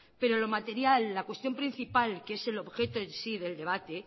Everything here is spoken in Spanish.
pero lo material la cuestión principal que es el objeto en sí del debate